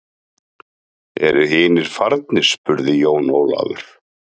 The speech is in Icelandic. Eru hinir farnir spurði Jón Ólafur.